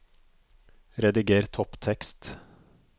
Rediger topptekst